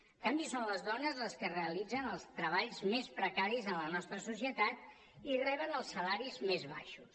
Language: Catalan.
en canvi són les dones les que realitzen els treballs més precaris en la nostra societat i reben els salaris més baixos